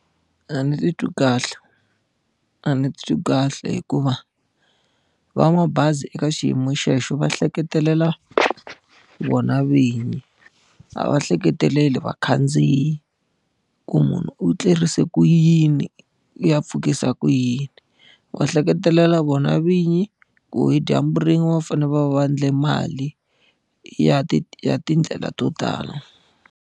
A ni titwi kahle. A ni titwi kahle hikuva va mabazi eka xiyimo xexo va hleketelela vona vinyi. A va ehleketeleli vakhandziyi, ku munhu u tlerise ku yini, u ya pfukisa ku yini. Va hleketelela vona vinyi ku hi dyambu rin'we va fanele va va endle mali ya ti ya tindlela to tala.